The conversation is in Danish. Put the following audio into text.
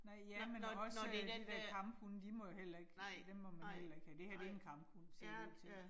Nej, ja, men også de der kamphunde de må jo heller ikke, dem må man heller ikke have. Det her det en kamphund ser det ud til